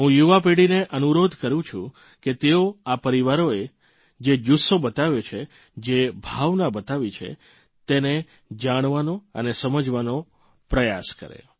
હું યુવા પેઢીને અનુરોધ કરૂં છું કે તેઓ આ પરિવારોએ જે જુસ્સો બતાવ્યો છે જે ભાવના બતાવી છે તેને જાણવાનો અને સમજવાનો પ્રયાસ કરે